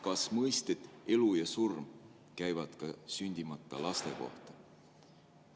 Kas mõisted "elu" ja "surm" käivad ka sündimata laste kohta?